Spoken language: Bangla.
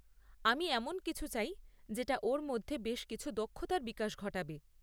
আমি এমন কিছু চাই যেটা ওর মধ্যে বেশ কিছু দক্ষতার বিকাশ ঘটাবে।